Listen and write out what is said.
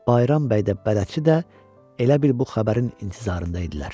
Bayram bəy də, bələdçi də elə bil bu xəbərin intizarında idilər.